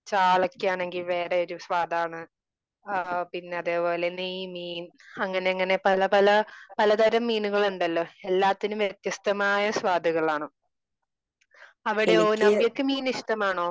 ചാളക്കാണെങ്കില് വേറെ ഒരു സ്വാദാണ്. ആ പിന്നെ അതേപോലെ നെയ്മീൻ അങ്ങനെ അങ്ങനെ പല പല പല തരം മീനുകൾ ഉണ്ടല്ലോ? എല്ലാത്തിനും വ്യത്യസ്തമായ സ്വാദാണ്. അവിടെയോ? നവ്യയ്ക്ക് മീൻ ഇഷ്ടമാണോ?